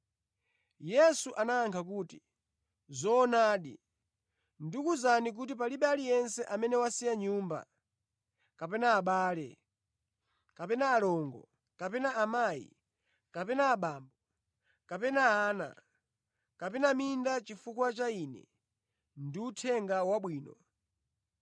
Yesu anayankha kuti, “Zoonadi, ndikuwuzani kuti palibe aliyense amene wasiya nyumba kapena abale kapena alongo kapena amayi kapena abambo kapena ana kapena minda chifukwa cha Ine ndi Uthenga Wabwino